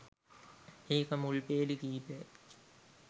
ඒක මුල් පේලි කීපය.